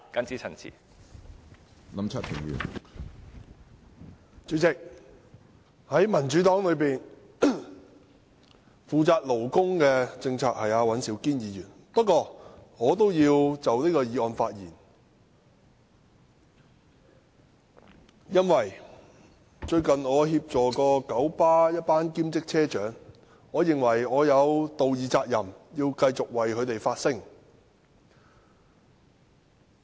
主席，在民主黨內負責勞工政策的是尹兆堅議員，不過我也要就這項議案發言，因為我最近曾協助九龍巴士有限公司一群兼職車長，我認為我有道義責任，繼續為他們發聲。